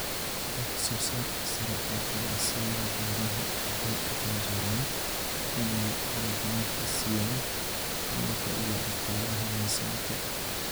Wax soo saarka sare ee ganacsiyada beeraha waxay u janjeeraan inay mudnaanta siiyaan hufnaanta iyo dhaqaalaha miisaanka.